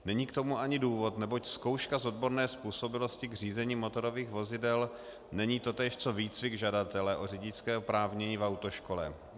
Není k tomu ani důvod, neboť zkouška z odborné způsobilosti k řízení motorových vozidel není totéž co výcvik žadatele o řidičské oprávnění v autoškole.